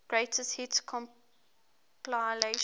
greatest hits compilation